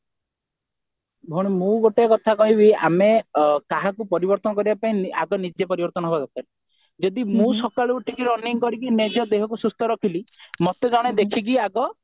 ଭଉଣୀ ମୁଁ ଗୋଟେ କଥା କହିବି ଆମେ କାହାକୁ ପରିବର୍ତ୍ତନ କରିବା ପାଇଁ ଆଗେ ନିଜେ ପରିବର୍ତ୍ତନ ହେବା ଦରକାର ଯଦି ମୁଁ ସକାଳୁ ଉଠିକି running କରିକି ନିଜ ଦେହକୁ ସୁସ୍ଥ ରଖିଲି ମତେ ଜଣେ ଦେଖିକି ଆଗ